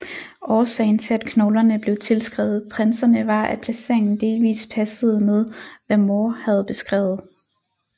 Årsagen til at knoglerne blev tilskrevet prinserne var at placeringen delvist passede med hvad More havde beskrevet